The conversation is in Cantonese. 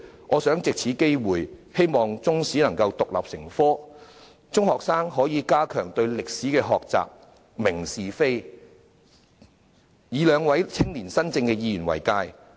我藉此機會，希望中史能夠獨立成科，中學生可以加強對歷史的學習，明辨是非，以兩位青年新政的議員為鑒。